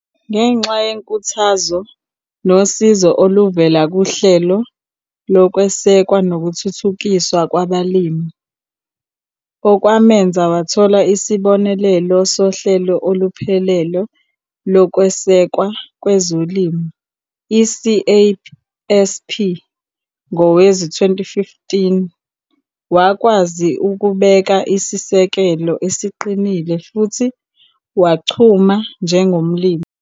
Ngenxa yenkuthazo nosizo oluvela kuHlelo Lokwesekwa nokuThuthukiswa Kwabalimi okwamenza wathola isibonelelo Sohlelo Oluphelele Lokwesekwa Kwezolimo, i-CASP, ngowezi-2015, wakwazi ukubeka isisekelo esiqinile futhi wachuma njengomlimi.